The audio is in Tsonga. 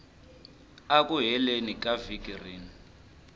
eku heleni ka vhiki rin